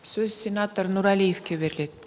сөз сенатор нұрәлиевке беріледі